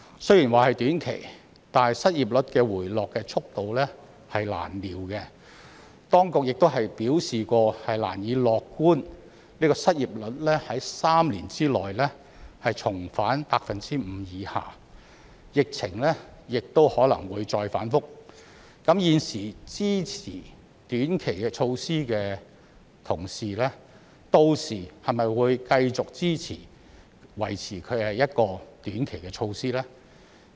雖說這是短期措施，但失業率回落速度難料，當局曾表示難以樂觀失業率在3年內重返 5% 以下，疫情亦可能會再反覆，現時支持短期措施的同事屆時會否繼續支持維持短期的措施呢？